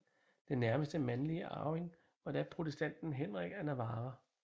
Den nærmeste mandlige arving var da protestanten Henrik af Navarra